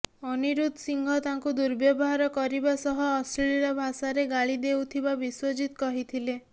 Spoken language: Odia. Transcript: ଅନିରୁଦ୍ଧ ସିଂହ ତାଙ୍କୁ ଦୁର୍ବ୍ୟବହାର କରିବା ସହ ଅଶ୍ଳିଳ ଭାଷାରେ ଗାଳି ଦେଉଥିବା ବିଶ୍ୱଜିତ କହିଥିଲେ